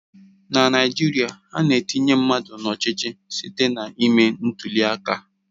Na Naijiria, ana-etinye mmadụ n'ọchịchị site na ime ntuli aka.